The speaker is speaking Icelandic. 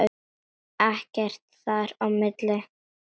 Ekkert þar á milli.